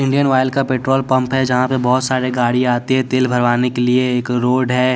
Indian oil का petrol pump है जहाँ पे बहुत सारे गाड़ी आती है तेल भरवाने के लिए एक रोड है--